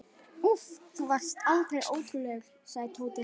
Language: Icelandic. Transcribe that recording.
Úff, þú varst aldeilis ótrúlegur, sagði Tóti.